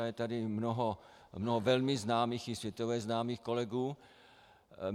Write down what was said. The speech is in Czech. A je tady mnoho velmi známých, i světově známých, kolegů.